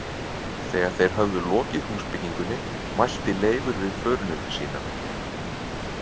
Þegar þeir höfðu lokið húsbyggingunni mælti Leifur við förunauta sína.